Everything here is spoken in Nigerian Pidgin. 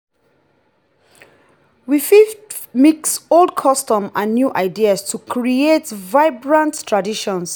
we fit mix old customs with new ideas to create vibrant traditions.